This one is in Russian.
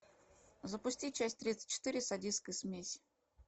запусти часть тридцать четыре садистская смесь